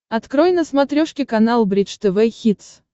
открой на смотрешке канал бридж тв хитс